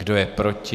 Kdo je proti?